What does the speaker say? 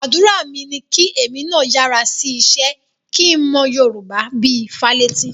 Àdúrà mi ni kí èmi náà yára sí iṣẹ́ kí n mọ Yorùbá bí i Fálétí